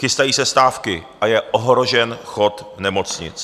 Chystají se stávky a je ohrožen chod nemocnic.